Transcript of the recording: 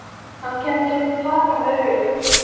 Hann kenndi mér að taka þær upp.